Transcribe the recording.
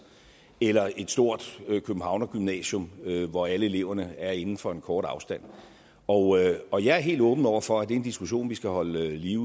eller et stort københavnergymnasium hvor alle elever er inden for en kort afstand og og jeg er helt åben over for at det er en diskussion vi skal holde liv